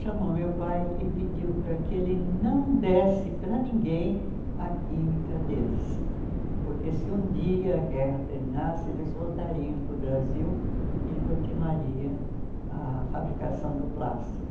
Chamou meu pai e pediu para que ele não desse para ninguém a química deles, porque se um dia a guerra terminasse, eles voltariam para o Brasil e continuaria a fabricação do plástico.